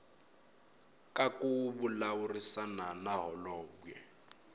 ka ku vulavurisana na holobye